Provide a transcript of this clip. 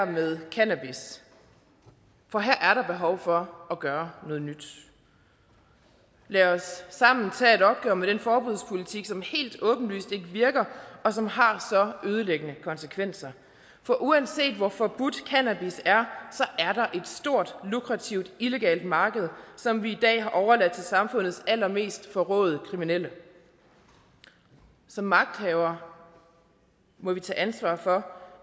med cannabis for her er der behov for at gøre noget nyt lad os sammen tage et opgør med den forbudspolitik som helt åbenlyst ikke virker og som har så ødelæggende konsekvenser for uanset hvor forbudt cannabis er er der et stort lukrativt illegalt marked som vi i dag har overladt til samfundets allermest forråede kriminelle som magthavere må vi tage ansvar for